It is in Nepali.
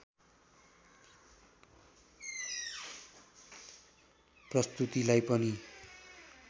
प्रस्तुतिलाई पनि